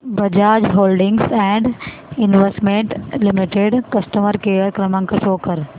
Bajaj holdings and investment limited customer care क्रमांक show कर